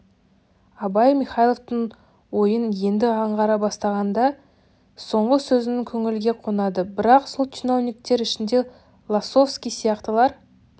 абай михайловтың ойын енді аңғара бастағандай соңғы сөзіңіз көңілге қонады бірақ сол чиновниктер ішінде лосовский сияқтылар